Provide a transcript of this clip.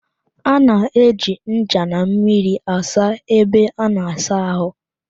A na-eji ncha na mmiri asa ebe a na-asa ahụ